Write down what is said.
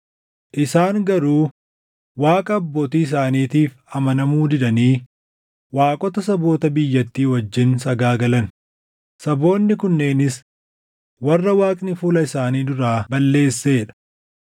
Isaan garuu Waaqa abbootii isaaniitiif amanamuu didanii waaqota saboota biyyattii wajjin sagaagalan; saboonni kunneenis warra Waaqni fuula isaanii duraa balleessee dha.